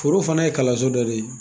Foro fana ye kalanso dɔ de ye